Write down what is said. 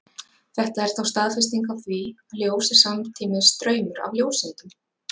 Þetta er þá staðfesting á því, að ljós er samtímis straumur af ljóseindum.